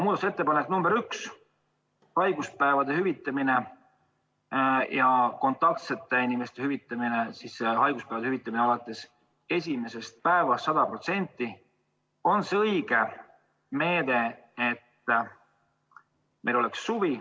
Muudatusettepanek nr 1, haiguspäevade hüvitamine ja kontaktsete inimeste kodus olemise hüvitamine alates esimesest päevast 100% on see õige meede, mis tagab, et meil oleks suvi.